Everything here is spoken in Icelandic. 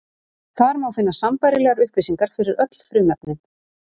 Þar má finna sambærilegar upplýsingar fyrir öll frumefnin.